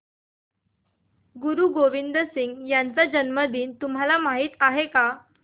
गुरु गोविंद सिंह यांचा जन्मदिन तुम्हाला माहित आहे